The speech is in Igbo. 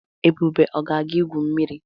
Ebube ọ ga-aga igwu mmiri?